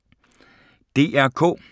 DR K